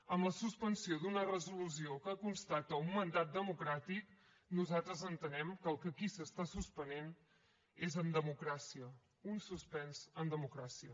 amb la suspensió d’una resolució que constata un mandat democràtic nosaltres entenem que el que aquí s’està suspenent és en democràcia un suspens en democràcia